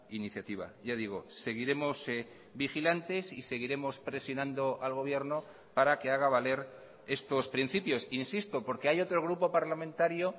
iniciativa ya digo seguiremos vigilantes y seguiremos presionando al gobierno para que haga valer estos principios insisto porque hay otro grupo parlamentario